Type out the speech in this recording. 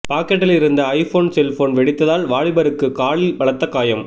பாக்கெட்டில் இருந்த iPhone cellphone வெடித்ததால் வாலிபருக்கு காலில் பலத்த காயம்